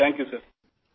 شکریہ سر